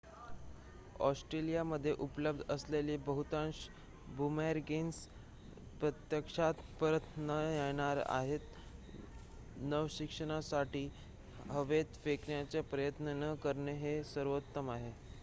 ऑस्ट्रेलियामध्ये उपलब्ध असलेले बहुतांश बुमरॅंग्स प्रत्यक्षात परत न येणारे आहेत नवशिक्यांसाठी हवेत फेकण्याचा प्रयत्न न करणे हे सर्वोत्तम आहे